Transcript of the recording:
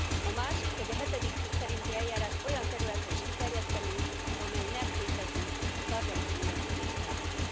A másik, hogy a hetedik cikk szerinti eljárást olyan területre is kiterjesztené, amely nem képezi a Sargentini jelentés tárgyát.